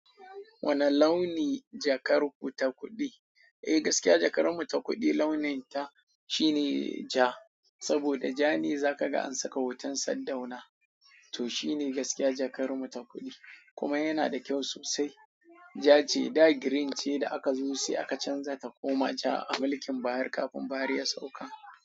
Wane launi jakar ku ta kuɗi? Eh gaskiya jakarmu ta kuɗi launin ta shine ja saboda ja ne za ka ga an saka hoton sardauna. Toh shine gaskiya jakar mu ta kuɗi. Kuma yana da kyau sosai. Ja ce. Da green ce da aka zo sai aka canza takoma ja a mulkin buhari kafin Buhari ya sauka.